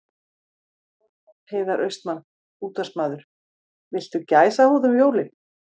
Heiðar Austmann, útvarpsmaður Viltu gæsahúð um jólin?